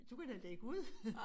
Du kan da lægge ud